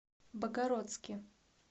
богородске